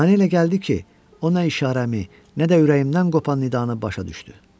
Mənə elə gəldi ki, o nə işarəmi, nə də ürəyimdən qopan nidanı başa düşdü.